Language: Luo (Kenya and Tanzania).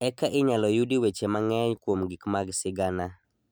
Eka inyalo yudi weche mang'eny kuom gik mag sigana